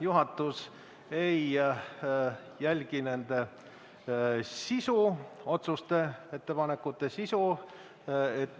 Juhatus ei jälgi nende otsuste-ettepanekute sisu.